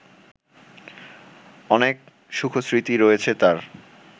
অনেক সুখস্মৃতি রয়েছে তার